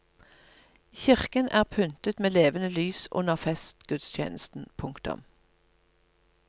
Kirken er pyntet med levende lys under festgudstjenesten. punktum